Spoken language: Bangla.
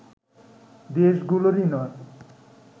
দেশগুলোরই নয়